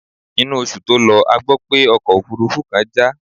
Inú oṣù tó lọ a gbó pé ọkọ̀ òfúrúfú kan já.